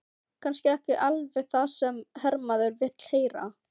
Kannski ekki alveg það sem hermaður vill heyra.